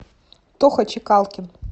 тоха чикалкин